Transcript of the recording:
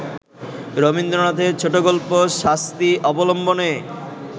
রবীন্দ্রনাথের ছোটগল্প ‘শাস্তি’ অবলম্বনে